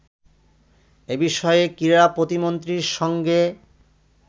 এ বিষয়ে ক্রীড়া প্রতিমন্ত্রীর সঙ্গে